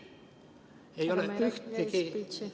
Need ei ole üks ja seesama.